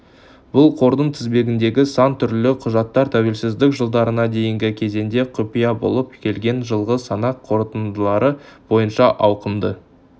бұл қордың тізбегіндегі сан түрлі құжаттар тәуелсіздік жылдарына дейінгі кезеңде құпия болып келген жылғы санақ қорытындылары бойынша ауқымды